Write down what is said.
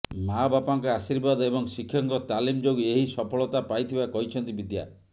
ମାଆବାପାଙ୍କ ଆଶୀର୍ବାଦ ଏବଂ ଶିକ୍ଷକଙ୍କ ତାଲିମ ଯୋଗୁଁ ଏହି ସଫଳତା ପାଇଥିବା କହିଛନ୍ତି ବିଦ୍ୟା